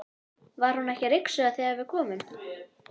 Var hún ekki að ryksuga þegar við komum?